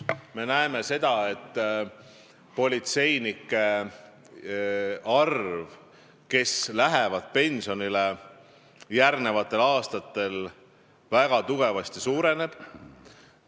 Me näeme seda, et nende politseinike arv, kes lähevad järgnevatel aastatel pensionile, väga tugevasti suureneb.